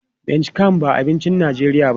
Miang kham ba abincin Najeriya ba ne.